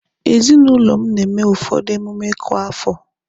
Ezinụlọ m na-eme ụfọdụ emume kwa afọ